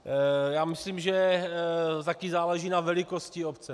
Já myslím, že také záleží na velikosti obce.